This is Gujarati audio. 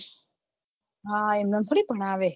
હા એમ એમ થોડી ભણાવે